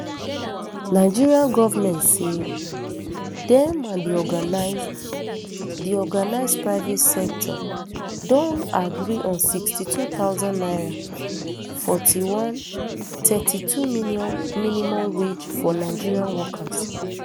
nigeria goment say dem and di organised di organised private sector don agree on sixty-two thousand naira forty-one thirty-two minimum wage for nigeria workers